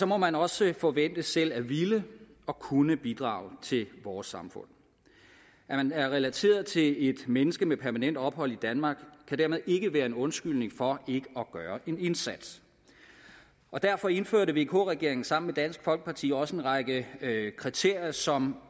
må man også forventes selv at ville og kunne bidrage til vores samfund at man er relateret til et menneske med permanent ophold i danmark kan dermed ikke være en undskyldning for ikke at gøre en indsats derfor indførte vk regeringen sammen med dansk folkeparti også en række kriterier som